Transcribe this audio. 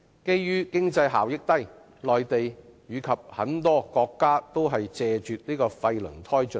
由於經濟效益低，內地及很多國家均謝絕廢輪胎進口。